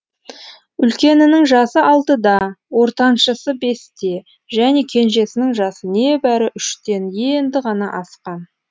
үлкенінің жасы алтыда ортаншысы бесте және кенжесінің жасы небәрі үштен енді ғана асқан